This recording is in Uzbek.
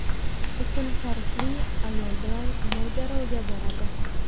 ism-sharifli ayol bilan mojaroga boradi.